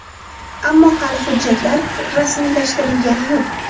Ammo hali hujjatlar rasmiylashtirilgani yo‘q.